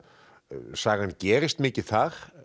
sagan gerist mikið þar